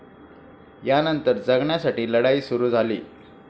यानंतर जगण्यासाठी लढाई सुरु झाली.